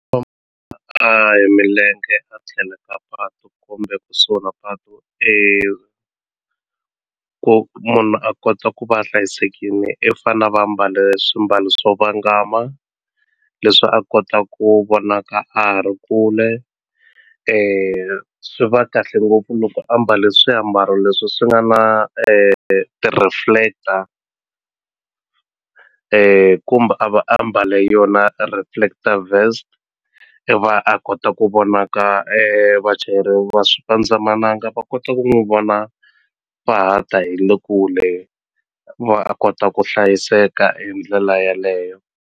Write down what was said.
hi milenge a tlhelo ka patu kumbe kusuhi na patu ku munhu a kota ku va a hlayisekini i fane a va ambale swiambalo swo vangama leswi a kota ku vonaka a ha ri kule swi va kahle ngopfu loko ambale swiambalo leswi swi nga na ti-reflector kumbe a va a mbale yona reflector vest i va a kota ku vonaka vachayeri va swipandzamananga va kota ku n'wi vona va ha ta hi le kule a kota ku hlayiseka hi ndlela yaleyo.